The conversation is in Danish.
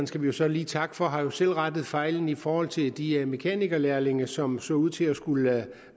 skal vi jo så lige takke for har jo selv rettet fejlen i forhold til de mekanikerlærlinge som så ud til at skulle